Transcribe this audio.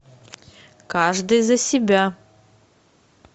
каждый за себя